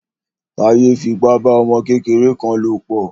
Táyé fi ipa bá ọmọ kékeré kan lò pọ̀.